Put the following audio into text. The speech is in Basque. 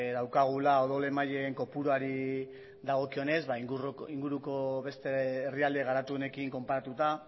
daukagula odol emaileen kopuruari dagokionez inguruko beste herrialde garatuenekin konparatuta